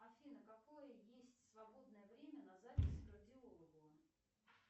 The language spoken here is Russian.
афина какое есть свободное время на запись к кардиологу